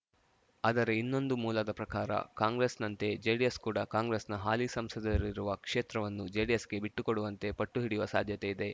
ಆದರೆ ಇನ್ನೊಂದು ಮೂಲದ ಪ್ರಕಾರ ಕಾಂಗ್ರೆಸ್‌ನಂತೆಯೇ ಜೆಡಿಎಸ್‌ ಕೂಡ ಕಾಂಗ್ರೆಸ್‌ನ ಹಾಲಿ ಸಂಸದರಿರುವ ಕ್ಷೇತ್ರವನ್ನು ಜೆಡಿಎಸ್‌ಗೆ ಬಿಟ್ಟುಕೊಡುವಂತೆ ಪಟ್ಟು ಹಿಡಿಯುವ ಸಾಧ್ಯತೆ ಇದೆ